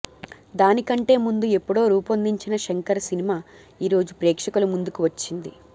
దానికంటే ముందు ఎప్పుడో రూపొందించిన శంకర సినిమా ఈరోజు ప్రేక్షకుల ముందుకు వచ్చింది